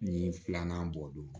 Ni filanan bɔ don